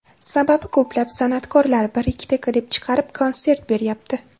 Sababi ko‘plab san’atkorlar bir-ikkita klip chiqarib, konsert beryapti.